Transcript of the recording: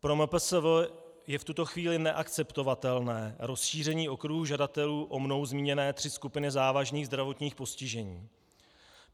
Pro MPSV je v tuto chvíli neakceptovatelné rozšíření okruhu žadatelů o mnou zmíněné tři skupiny závažných zdravotních postižení.